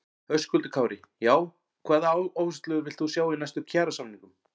Höskuldur Kári: Já, hvaða áherslur villt þú sjá í næstu kjarasamningum?